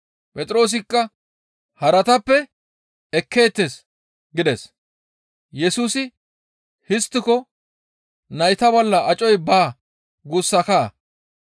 Phexroosikka, «Haratappe ekkeettes» gides. Yesusi, «Histtiko nayta bolla acoy baa guussakaa!